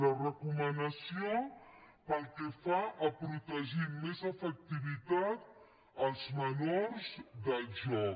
la recomanació pel que fa a protegir amb més efectivitat els menors del joc